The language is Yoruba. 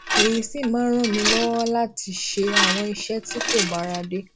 èyí sì máa ń ràn mí lọwọ láti máa ṣe àwọn iṣẹ tí kò bára dé